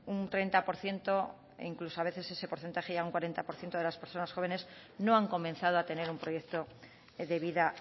un treinta por ciento e incluso ese porcentaje a veces llega a un cuarenta por ciento de las personas jóvenes que no han comenzado a tener un proyecto de vida